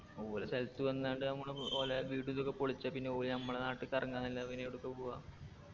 ഓര സ്ഥലത്ത് വന്നാണ്ട് മ്മള് ഓലെ വീട് ഇതൊക്കെ പൊളിച്ച പിന്നെ ഓല് നമ്മള നാട്ടിക്കെറങ്ങന്നല്ലാതെ പിന്നെ എവടക്കാ പോവാ